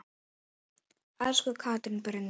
Elsku Katrín Brynja.